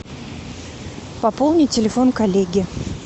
пополни телефон коллеги